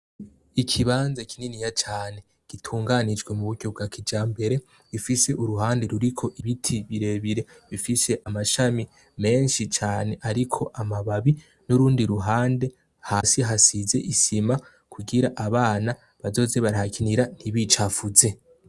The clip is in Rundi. Ikibanza kininiya cane gitunganijwe muburyo bwakijambere rifise uruhande ruriko ibiti birebire bifise amashami menshi cane ariko amababi nurundi ruhande hasi hasize isima kugira abana bazoze barahakinira ntibicafuze